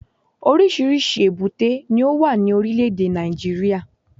Oríṣìíríṣìí èbúté ni ó wà ní Orílẹ̀dè Nàìjíríà